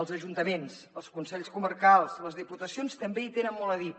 els ajuntaments els consells comarcals les diputacions també hi tenen molt a dir